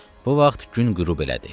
Bu vaxt gün qürub elədi.